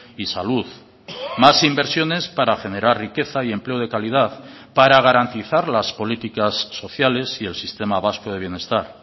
y salud más inversiones para generar riqueza y empleo de calidad para garantizar las políticas sociales y el sistema vasco de bienestar